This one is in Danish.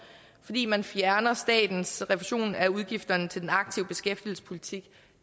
fordi man fjerner statens refusion af udgifterne til den aktive beskæftigelsespolitik